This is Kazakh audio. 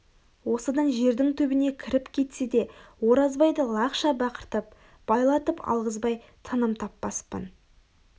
осыдан жердің түбіне кіріп кетсе де оразбайды лақша бақыртып байлатып алғызбай тыным таппаспын